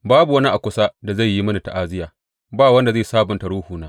Babu wani a kusa da zai yi mini ta’aziyya, ba wanda zai sabunta ruhuna.